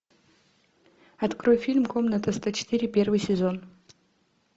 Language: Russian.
открой фильм комната сто четыре первый сезон